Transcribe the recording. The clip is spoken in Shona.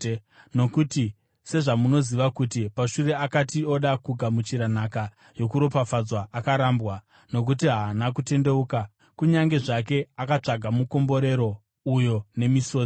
Nokuti sezvamunoziva kuti pashure akati oda kugamuchira nhaka yokuropafadzwa, akarambwa. Nokuti haana kutendeuka, kunyange zvake akatsvaka mukomborero uyo nemisodzi.